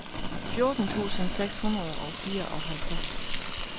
fjorten tusind seks hundrede og fireoghalvtreds